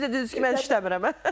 Siz də dediniz ki, mən işləmirəm.